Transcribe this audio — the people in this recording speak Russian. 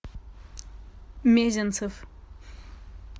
мезенцев